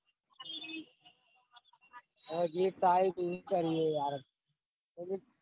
આ gift આઈ ટતી હું કરીએ યાર